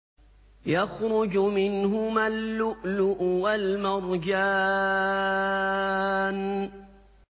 يَخْرُجُ مِنْهُمَا اللُّؤْلُؤُ وَالْمَرْجَانُ